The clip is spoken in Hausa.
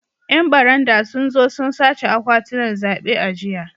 ‘Yan barandan sun zo sun sace akwatunan zabe a jiya